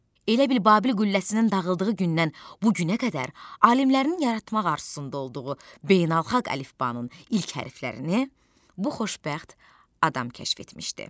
Elə bil Babil qülləsinin dağıldığı gündən bu günə qədər alimlərin yaratmaq arzusunda olduğu beynəlxalq əlifbanın ilk hərflərini bu xoşbəxt adam kəşf etmişdi.